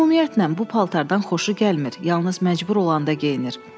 Ümumiyyətlə bu paltardan xoşu gəlmir, yalnız məcbur olanda geyinir.